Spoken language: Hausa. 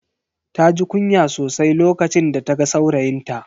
Taji kunya sosai lokacin da ta ga saurayinta.